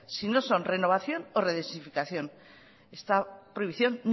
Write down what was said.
si no son renovación o redosificación esta prohibición